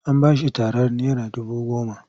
An ba shi tarar naira dubu goma.